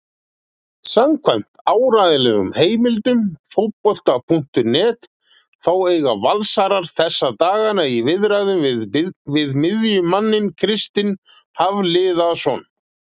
Samkvæmt áreiðanlegum heimildum Fótbolti.net þá eiga Valsarar þessa dagana í viðræðum við miðjumanninn Kristinn Hafliðason.